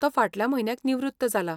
तो फाटल्या म्हयन्याक निवृत्त जालां.